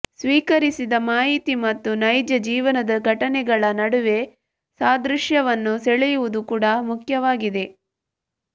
ಸ್ವೀಕರಿಸಿದ ಮಾಹಿತಿ ಮತ್ತು ನೈಜ ಜೀವನದ ಘಟನೆಗಳ ನಡುವೆ ಸಾದೃಶ್ಯವನ್ನು ಸೆಳೆಯುವುದು ಕೂಡಾ ಮುಖ್ಯವಾಗಿದೆ